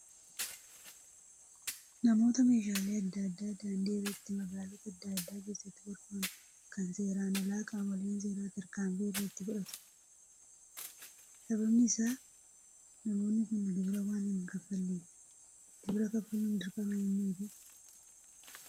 Namoota meeshaalee adda addaa daandii irratti magaalota adda addaa keessatti gurguran kan seeraan alaa qaamoleen seeraa tarkaanfii irratti fudhatu. Sababiin isaas namoonni kun gibira waan hin kaffalleefi. Gibira kaffaluun dirqama eenyuutii?